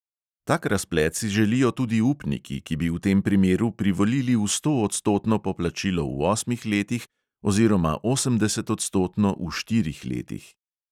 Tak razplet si želijo tudi upniki, ki bi v tem primeru privolili v stoodstotno poplačilo v osmih letih oziroma osemdesetodstotno v štirih letih.